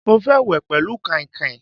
Mo fẹ́ wẹ̀ pẹlu kainkain